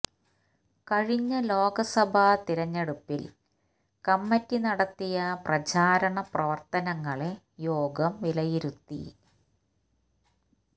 കഴിഞ്ഞ ലോക്സഭാ തിരഞ്ഞെടുപ്പില് കമ്മിറ്റി നടത്തിയ പ്രചാരണ പ്രവര്ത്തനങ്ങളെ യോഗം വിലയിരുത്തി